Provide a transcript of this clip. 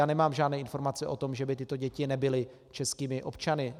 Já nemám žádné informace o tom, že by tyto děti nebyly českými občany.